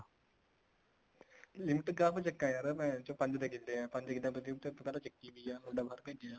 limit ਕਾਹਤੋਂ ਚੱਕਾਂ ਯਾਰ ਭੈਣਚੋ ਪੰਜ ਤਾਂ ਕਿੱਲੇ ਆ ਪੰਜ ਕਿੱਲਿਆਂ ਤੋਂ limit ਪਿਹਲਾਂ ਚੱਕੀ ਹੋਈ ਆ ਮੁੰਡਾ ਬਾਹਰ ਭੇਜਿਆ